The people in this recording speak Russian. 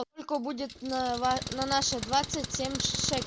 сколько будет на наши двадцать семь